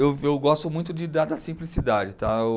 Eu eu gosto muito de, da da simplicidade, tá?